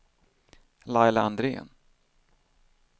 Laila Andrén